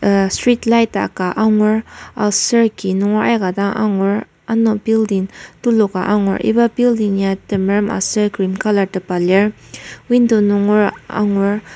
Street light ka angur aser ki nunger aika dang angur ano building tuluka angur iba building ya temerem aser cream colour tepa lir window nungera angur.